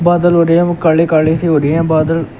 बादल हो रहे हैं काड़े काड़े से हो रहे हैं बादल--